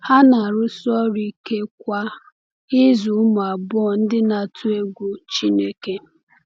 Ha na-arụsi ọrụ ike kwa ịzụ ụmụ abụọ ndị na-atụ egwu Chineke.